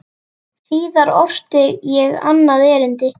Síðar orti ég annað erindi.